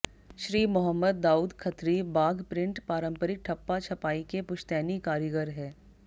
Shri Mohammad Daud Khatri Bagh print पांरम्परिक ठप्पा छपाई के पुश्तैनी कारीगर है